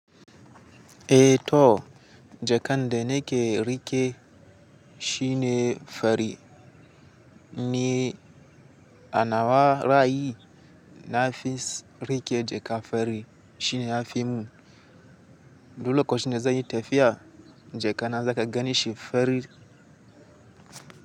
Eh to, jakan da nake riƙe shine fari ne. A na wa ra'ayi na fi riƙe jaka fari shine a fimun. Duk lokacin da zanyi tafiya, jaka na zaka gan shi fari.